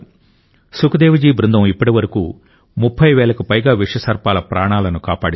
సుఖ్దేవ్ జీ బృందం ఇప్పటి వరకు 30 వేలకు పైగా విష సర్పాల ప్రాణాలను కాపాడింది